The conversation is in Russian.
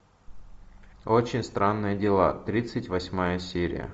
очень странные дела тридцать восьмая серия